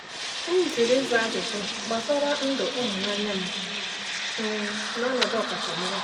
M jụrụ ịza ajụjụ gbasara ndụ ịhụnanya m m n’ọnọdụ ọkachamara.